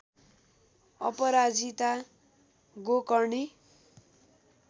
अपराजिता गोकर्णी